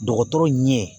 Dɔgɔtɔrɔ ɲɛ